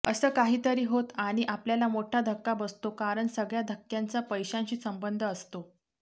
असं काहीतरी होतं आणि आपल्याला मोठ्ठा धक्का बसतो कारण सगळ्या धक्क्यांचा पैशांशी संबंध असतो